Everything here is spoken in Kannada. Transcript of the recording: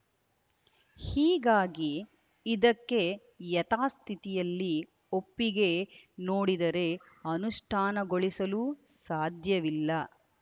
ಹೀಗಾಗಿ ಇದಕ್ಕೆ ಯತಾಸ್ಥಿತಿಯಲ್ಲಿ ಒಪ್ಪಿಗೆ ನೋಡಿದರೆ ಅನುಷ್ಠಾನಗೊಳಿಸಲು ಸಾಧ್ಯವಿಲ್ಲ